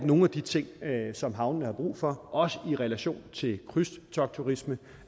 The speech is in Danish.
nogle af de ting som havnene har brug for også i relation til krydstogtturisme